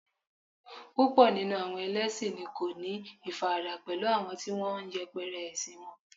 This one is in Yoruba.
púpò nínú àwọn ẹlẹsin ni won ko ni ifarada pẹlú àwọn ti won n yẹpẹrẹ ẹsin won